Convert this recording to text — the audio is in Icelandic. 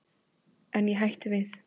En ég hætti við.